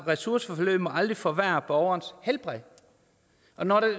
ressourceforløb må aldrig forværre borgerens helbred når